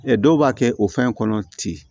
Ɛ dɔw b'a kɛ o fɛn kɔnɔ ten